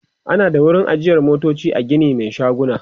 ana ada wurin ajiye motoci a Gini Mai shaguna